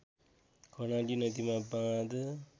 कर्णाली नदीमा बाँध